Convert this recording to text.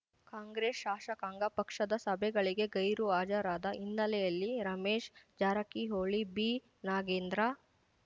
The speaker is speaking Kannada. ಕಾಂಗ್ರೆಸ್ ಶಾಸಕಾಂಗ ಪಕ್ಷದ ಸಭೆಗಳಿಗೆ ಗೈರು ಹಾಜರಾದ ಹಿನ್ನೆಲೆಯಲ್ಲಿ ರಮೇಶ್ ಜಾರಕಿಹೊಳಿ ಬಿ ನಾಗೇಂದ್ರ